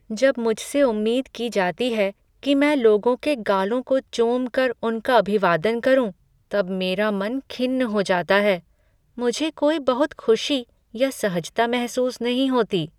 जब मुझसे उम्मीद की जाती है कि मैं लोगों के गालों को चूमकर उनका अभिवादन करूँ तब मेरा मन खिन्न हो जाता है। मुझे कोई बहुत खुशी या सहजता महसूस नहीं होती।